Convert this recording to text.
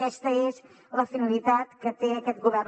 aquesta és la finalitat que té aquest govern